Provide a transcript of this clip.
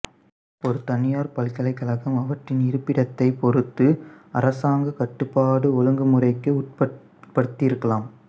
ஒரு தனியார் பல்கலைக்கழகம் அவற்றின் இருப்பிடத்தைப் பொறுத்து அரசாங்க கட்டுப்பாட்டு ஒழுங்குமுறைக்கு உட்பட்டிருக்கலாம்